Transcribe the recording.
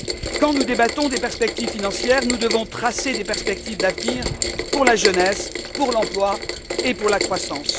Quand nous débattons des perspectives financières, nous devons tracer des perspectives d'avenir pour la jeunesse, pour l'emploi et pour la croissance.